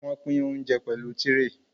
Wọ́n pín óńjẹ pẹ̀lú tírè.